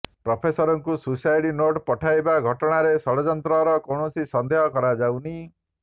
ପ୍ରଫେସରଙ୍କୁ suicide note ପଠାଇବା ଘଟଣାରେ ଷଡଯନ୍ତ୍ରର କୌଣସି ସନ୍ଦେହ କରାଯାଉନି